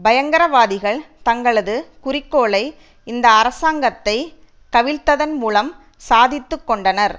பயங்கரவாதிகள் தங்களது குறிக்கோளை இந்த அரசாங்கத்தை கவிழ்த்ததன் மூலம் சாதித்துக்கொண்டனர்